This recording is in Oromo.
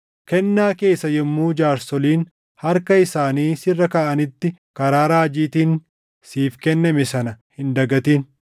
Kennaa kee isa yommuu jaarsoliin harka isaanii sirra kaaʼanitti karaa raajiitiin siif kenname sana hin dagatin.